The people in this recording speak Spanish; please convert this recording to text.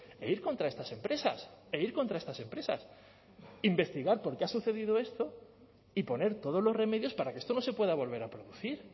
e ir contra estas empresas e ir contra estas empresas investigar por qué ha sucedido esto y poner todos los remedios para que esto no se pueda volver a producir